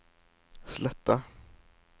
Sletta